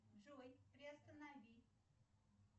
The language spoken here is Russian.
джой приостанови